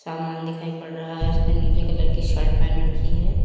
समान दिखाई पड़ा रहा हैं उसने नीले कलर की शर्ट पहन रखी है।